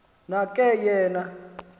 na ke yena